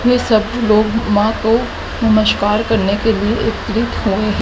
ये सभी लोग मां को नमस्कार करने के लिए एकत्रित हैं।